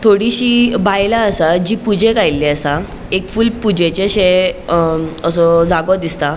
थोडीशी बायला आसा जी पूजेक आयली असा एक फूल पूजेचे अशे अ असो जागो दिसता.